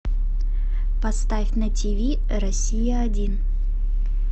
поставь на тв россия один